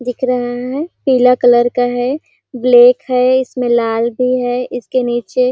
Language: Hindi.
दिख रहे है पीला कलर का है ब्लैक है इसमें लाल भी है इसके नीचे--